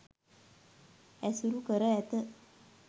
ඇසුරු කර ඇත.